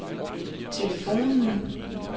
telefonen